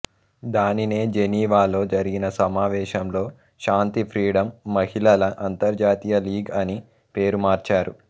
దానినే జెనీవాలో జరిగిన సమావేశంలో శాంతి ఫ్రీడమ్ మహిళల అంతర్జాతీయ లీగ్ అని పేరు మార్చారు